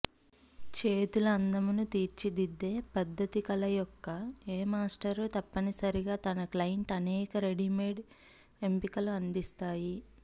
చేతుల అందమును తీర్చిదిద్దే పద్ధతి కళ యొక్క ఏ మాస్టర్ తప్పనిసరిగా తన క్లయింట్ అనేక రెడీమేడ్ ఎంపికలు అందిస్తాయి